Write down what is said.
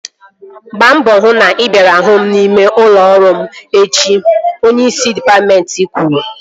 Gbaa mbọ hụ na ị bịara hụ m n'ime ụlọ ọrụ m echi! Onyeisi dịpatmentị kwuru